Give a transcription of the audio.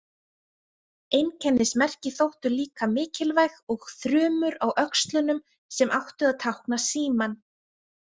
Einkennismerki þóttu líka mikilvæg og þrumur á öxlunum sem áttu að tákna símann.